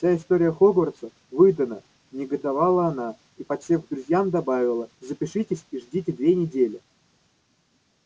вся история хогвартса выдана негодовала она и подсев к друзьям добавила запишитесь и ждите две недели